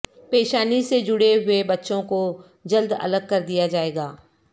پیشانی سے جڑے ہوئے بچوں کو جلد الگ کردیا جائیگا